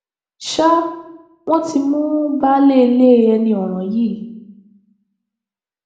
ṣá wọn ti mú baálé ilé ẹni ọràn yìí